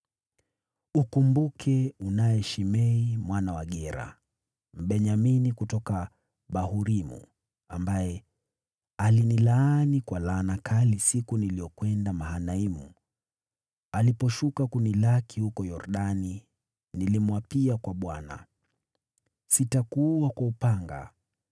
“Ukumbuke, unaye Shimei mwana wa Gera, Mbenyamini kutoka Bahurimu, ambaye alinilaani kwa laana kali siku niliyokwenda Mahanaimu. Aliposhuka kunilaki huko Yordani, nilimwapia kwa Bwana : ‘Sitakuua kwa upanga!’